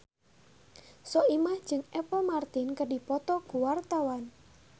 Soimah jeung Apple Martin keur dipoto ku wartawan